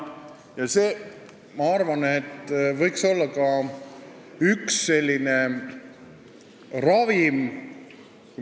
Ja ma arvan, et see võiks olla ka üks n-ö ravim.